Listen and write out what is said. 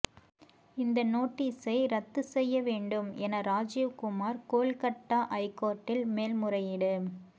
இந்த நோட்டீசை ரத்து செய்ய வேண்டும் என ராஜிவ்குமார் கோல்கட்டா ஐகோர்ட்டில் மேல்முறையீடு